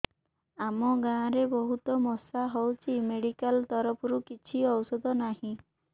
ଆମ ଗାଁ ରେ ବହୁତ ମଶା ହଉଚି ମେଡିକାଲ ତରଫରୁ କିଛି ଔଷଧ ନାହିଁ